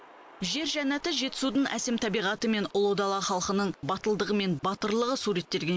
жер жаннаты жетісудың әсем табиғаты мен ұлы дала халқының батылдығы мен батырлығы суреттелген